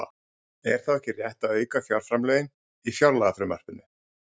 Er þá ekki rétt að auka fjárframlögin á fjárlagafrumvarpinu?